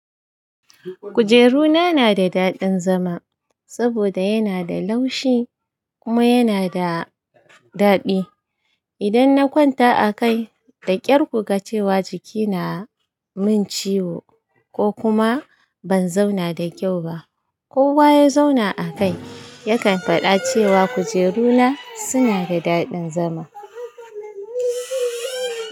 Kujeru na na da daɗin zama, saboda yana da laushi kuma yana da daɗi. Idan na kwanta a kai da ƙyar kuga cewa jiki na min ciwo ko kuma ban zauna da kyau ba. Kowa ya zauna a kai yakan faɗa cewa kujeru na suna da daɗin zama.